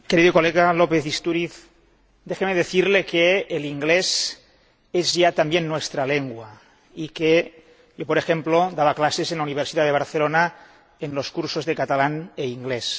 Querido señor López Istúriz, déjeme decirle que el inglés es ya también nuestra lengua y que yo, por ejemplo, daba clases en la Universidad de Barcelona en los cursos en catalán e inglés.